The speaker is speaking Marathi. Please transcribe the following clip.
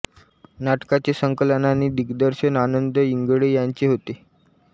नाटकाचे संकलन आणि दिग्दर्शन आनंद इंगळे यांचे होते